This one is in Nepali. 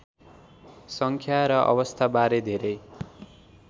सङ्ख्या र अवस्थाबारे धेरै